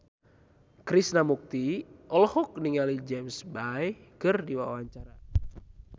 Krishna Mukti olohok ningali James Bay keur diwawancara